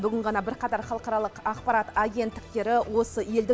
бүгін ғана бірқатар халықаралық ақпарат агенттіктері осы елдің